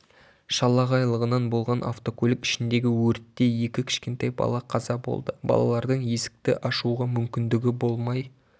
шалағайлығынан болған автокөлік ішіндегі өртте екі кішкентай бала қаза болды балалардың есікті ашуға мүмкіндігі болмай